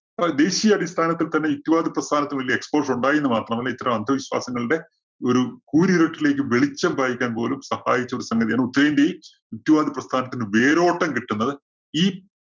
അപ്പോ ദേശീയ അടിസ്ഥാനത്തിൽ തന്നെ ഹിറ്റുവാഡ് പ്രസ്ഥാനത്തിന് വലിയ explosion ഉണ്ടായി എന്ന് മാത്രമല്ല, ഇത്തരം അന്ധവിശ്വാസങ്ങളുടെ ഒരു കൂരിരുട്ടിലേക്ക് വെളിച്ചം പായിക്കാൻ പോലും സഹായിച്ച ഒരു സംഗതിയാണ് ഉത്തരേന്ത്യയില്‍ ഹിറ്റുവാഡ് പ്രസ്ഥാനത്തിന് വേരോട്ടം കിട്ടുന്നത് ഈ